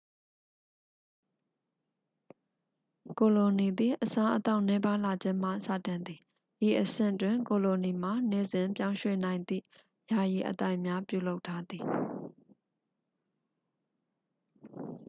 ကိုလိုနီသည် အစားအသောက်နည်းပါးလာခြင်းမှစတင်သည် ဤအဆင့်တွင် ကိုလိုနီမှာ နေ့စဉ်ပြောင်းရွှေ့နိုင်သည့် ယာယီအသိုက်များပြုလုပ်ထားသည်